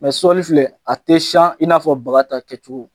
Mɛ sɔli filɛ a tɛ siyan in n'a fɔ baga ta kɛcogo.